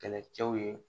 Kɛlɛcɛw ye